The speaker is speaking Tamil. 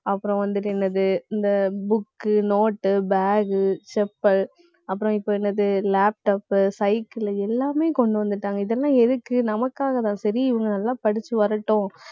அப்புறம் வந்துட்டு, என்னது இந்த book உ note உ bag உ chappal அப்புறம், இப்ப என்னது laptop உ cycle உ எல்லாமே கொண்டு வந்துட்டாங்க. இதெல்லாம் எதுக்கு நமக்காகதான், சரி இவங்க நல்லா படிச்சு வரட்டும்.